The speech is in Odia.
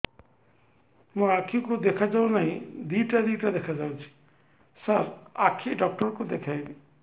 ମୋ ଆଖିକୁ ଦେଖା ଯାଉ ନାହିଁ ଦିଇଟା ଦିଇଟା ଦେଖା ଯାଉଛି ସାର୍ ଆଖି ଡକ୍ଟର କୁ ଦେଖାଇବି